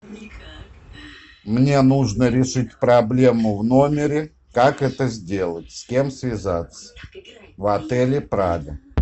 мне нужно решить проблему в номере как это сделать с кем связаться в отеле прага